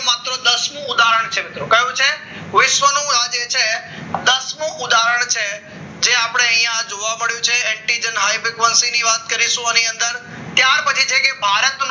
માત્ર દસ નું ઉદાહરણ છે મિત્રો કયું છે વિશ્વનો રાજી છે દસ મુ ધોરણ છે જે આપણે અહીંયા જોવા મળ્યું છે anti high frequency ની વાત કરીશું આની અંદર ત્યાર પછી છે કે ભારત